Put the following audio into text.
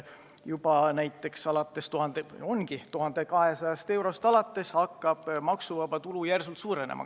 Juba 1200 eurost alates hakkab tulumaks järsult suurenema.